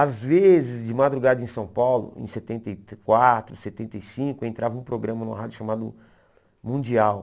Às vezes, de madrugada em São Paulo, em setenta e quatro, setenta e cinco, entrava um programa no rádio chamado Mundial.